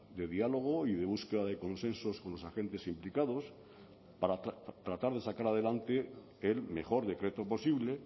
de diálogo y de búsqueda de consensos con los agentes implicados para tratar de sacar adelante el mejor decreto posible